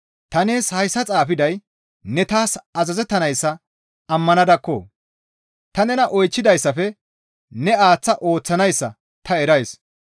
Ta nees hayssa xaafiday ne taas azazettanayssa ammanadakko! Ta nena oychchidayssafe ne aaththa ooththanayssa ta erays.